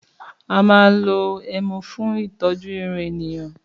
Àmá ló ẹmú fí tọjú ìrún ẹníyàn.